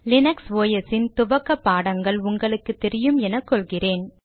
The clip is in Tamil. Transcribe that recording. லீனக்ஸ் ஒஸ் ன் துவக்க பாடங்கள் உங்களுக்கு தெரியும் என கொள்கிறேன்